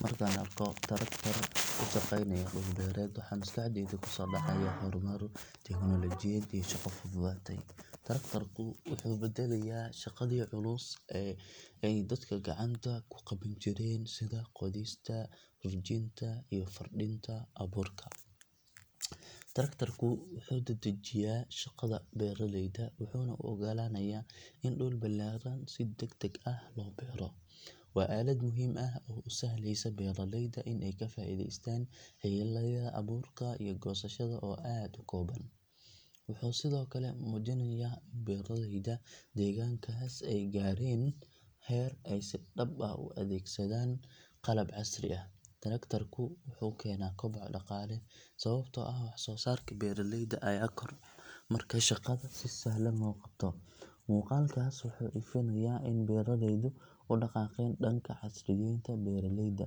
Markaan arko traktor ku shaqeynaya dhul beereed waxa maskaxdayda ku soo dhacaya horumar, tiknoolajiyad iyo shaqo fududaatay. Traktorka wuxuu badalayaa shaqadii culus ee ay dadka gacanta ku qaban jireen sida qodista, rujinta iyo firdhinta abuurka. Traktorka wuxuu dedejiyaa shaqada beeralayda wuxuuna u oggolaanayaa in dhul ballaaran si degdeg ah loo beero. Waa aalad muhiim ah oo u sahlaysa beeraleyda in ay ka faa’iideystaan xilliyada abuurka iyo goosashada oo aad u kooban. Wuxuu sidoo kale muujinayaa in beeraleyda deegaankaas ay gaareen heer ay si dhab ah u adeegsadaan qalab casri ah. Traktorka wuxuu keenaa koboc dhaqaale sababtoo ah waxsoosaarka beeraleyda ayaa kordha marka shaqada si sahlan loo qabto. Muuqaalkaas wuxuu ifinayaa in beeraleydu u dhaqaaqeen dhanka casriyeynta beeraleyda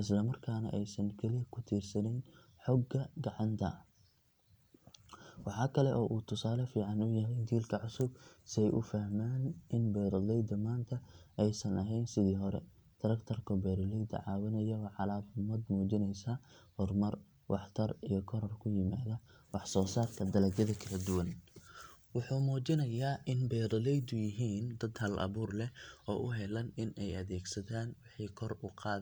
islamarkaana aysan kaliya ku tiirsaneyn xoogga gacanta. Waxaa kale oo uu tusaale fiican u yahay jiilka cusub si ay u fahmaan in beeraleyda maanta aysan ahayn sidii hore. Traktorka beeralayda caawinaya waa calaamad muujinaysa horumar, waxtar iyo koror ku yimaada waxsoosaarka dalagyada kala duwan. Wuxuu muujinayaa in beeraleydu yihiin dad hal-abuur leh oo u heelan in ay adeegsadaan wixii kor u qaadaya.